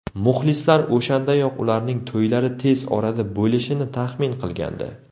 Muxlislar o‘shandayoq ularning to‘ylari tez orada bo‘lishini taxmin qilgandi.